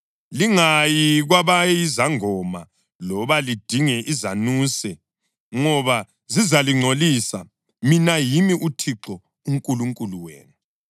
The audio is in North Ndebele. Lingayi kwabayizangoma loba lidinge izanuse ngoba zizalingcolisa. Mina yimi uThixo uNkulunkulu wenu.